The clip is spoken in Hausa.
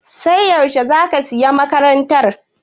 Sai yaushe za ka sayi makarantar?